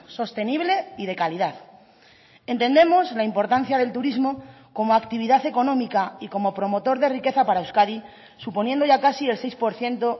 sostenible y de calidad entendemos la importancia del turismo como actividad económica y como promotor de riqueza para euskadi suponiendo ya casi el seis por ciento